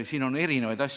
Siin on olnud erinevaid asju.